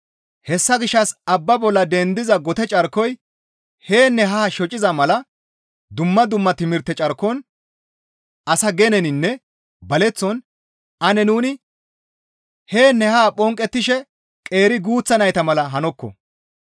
Hessa gishshas abba bolla dendiza gote carkoy yaanne haa shocechchiza mala dumma dumma timirte carkon asa geneninne baleththon ane nuni yaanne haa phonqettishe qeeri guuththa nayta mala hanokko.